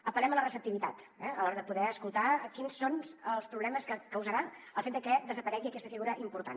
apel·lem a la receptivitat eh a l’hora de poder escoltar quins són els problemes que causarà el fet de que desaparegui aquesta figura important